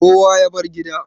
kowa ya bar gida